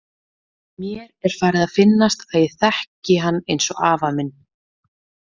Mér er farið að finnast að ég þekki hann eins og afa minn.